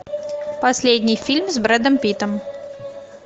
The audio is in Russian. последний фильм с брэдом питтом